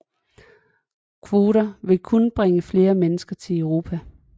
Kvoter vil kun bringe flere mennesker til Europa